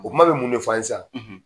O kuma bɛ mun ne f'an ye san